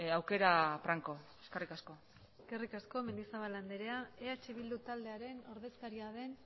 aukera franko eskerrik asko eskerrik asko mendizabal andrea eh bildu taldearen ordezkaria den